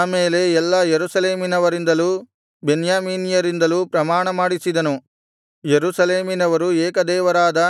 ಆಮೇಲೆ ಎಲ್ಲಾ ಯೆರೂಸಲೇಮಿನವರಿಂದಲೂ ಬೆನ್ಯಾಮೀನ್ಯರಿಂದಲೂ ಪ್ರಮಾಣಮಾಡಿಸಿದನು ಯೆರೂಸಲೇಮಿನವರು ಏಕದೇವರಾದ